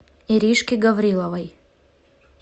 иришке гавриловой